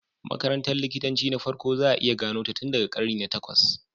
Makarantar likitanci ta farko za a iya gano ta tun daga karni na takwas.